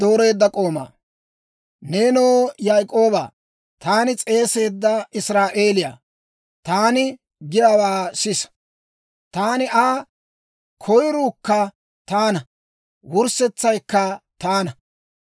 «Neenoo Yaak'oobaa, taani s'eeseedda Israa'eelew, taani giyaawaa sisa. Taani Aa; koyiruukka taana wurssetsaykka taana.